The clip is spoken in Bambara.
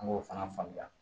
An b'o fana faamuya